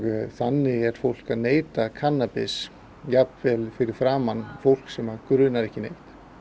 þannig er fólk að neyta kannabis jafnvel fyrir framan fólk sem grunar ekki neitt